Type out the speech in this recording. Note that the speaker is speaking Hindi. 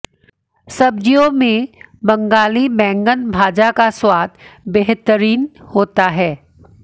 सब्जियों में बंगाली बैंगन भाजा का स्वाद बेहतरीन होता है